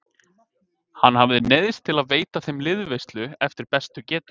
Hann hafði neyðst til að veita þeim liðveislu eftir bestu getu.